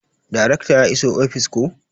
Darekta ya iso ofis koh?